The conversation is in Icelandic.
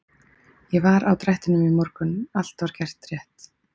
Ég var á drættinum í morgun og allt var gert rétt.